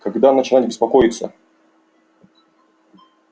когда начинать беспокоиться